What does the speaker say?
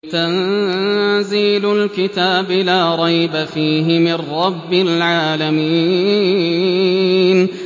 تَنزِيلُ الْكِتَابِ لَا رَيْبَ فِيهِ مِن رَّبِّ الْعَالَمِينَ